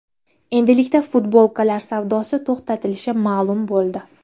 Endilikda futbolkalar savdosi to‘xtatilishi ma’lum bo‘ldi.